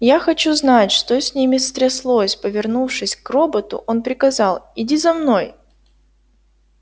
я хочу знать что с ними стряслось повернувшись к роботу он приказал иди за мной